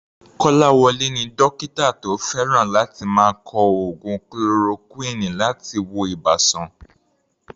Kolawole ni dókítà tó fẹ́ràn láti máa kọ oògùn chloroquine láti wo ibà sàn.